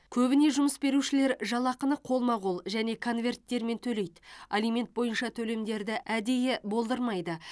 көбіне жұмыс берушілер жалақыны қолма қол және конверттермен төлейді алимент бойынша төлемдерді әдейі болдырмайды